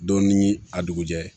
Don ni a dugujɛ